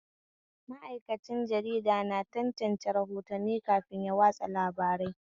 Ma'aikacin jarida na tantance rahotanni kafin ya watsa labarai